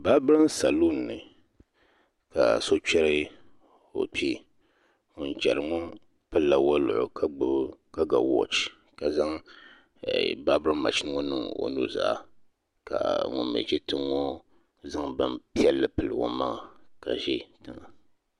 Baabarin salun ni ka so chɛri o kpee ŋun chɛri ŋo pilila woliɣi ka ga wooch ka zaŋ baabirin mashin ŋo niŋ o nuzaa ka ŋun mii ʒi kpɛŋŋo zaŋ bin piɛlli pili o maŋa ka ʒi tiŋa